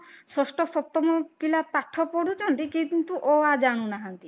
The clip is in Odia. ଷଷ୍ଠ ସପ୍ତମ ପିଲା ପାଠ ପଢୁଛନ୍ତି କିନ୍ତୁ ଅ ଆ ଜାଣୁନାହାନ୍ତି